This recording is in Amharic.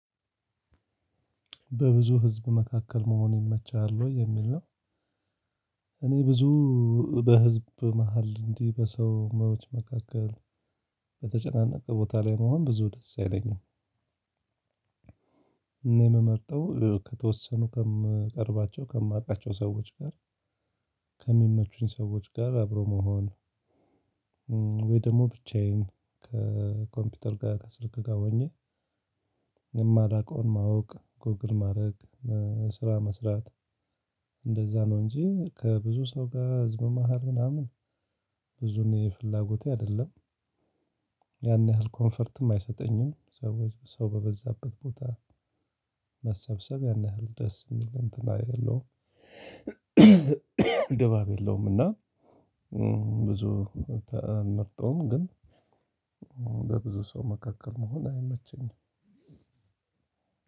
በብዙ ህዝብ መካከል መሆን ይመቻል ወይ የሚል ነው እኔ ብዙ በህዝብ መሃል እንዲህ በሰው መውጫ መካከል በተጨናነቀ ቦታ ላይ መሆን ብዙ ደስ አይለኝም። እኔ የምመርጠው ከተወሰኑ ከማቀርባቸው ከማውቃቸው ሰዎች ጋር ከሚመቹኝ ሰዎች ጋር አብሮ መሆን ወይ ደግሞ ብቻዬን ከኮምፒውተር ጋር ከስልክ ጋር ሆኜ የማላቀውን ማወቅ ጎግል ማድረግ፣ ስራ መስራት እንደዛ ነው እንጂ ከብዙ ሰው ጋር ህዝብ መሃል ምናምን ብዙም ፍላጎቴ አይደለም። ያን ያህል ኮንፈርትም አይሰጠኝም ሰው ሰው በበዛበት ቦታ መሰብሰብ ያን ያህል ደስ የሚል እንትን አይደለሁም። ድባብ የለውም እና ብዙ ቤታ አልመርጠውም ግን በብዙ ሰው መካከል መሆን አይመቸኝም።